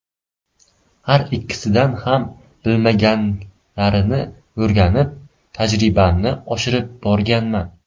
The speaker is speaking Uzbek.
Har ikkisidan ham bilmaganlarimni o‘rganib, tajribamni oshirib borganman.